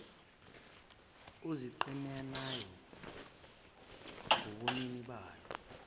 oziqhenyayo ngobunini balo